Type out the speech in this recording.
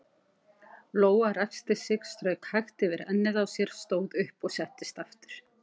Lóa ræskti sig, strauk hægt yfir ennið á sér, stóð upp og settist aftur.